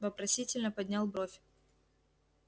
вопросительно поднял бровь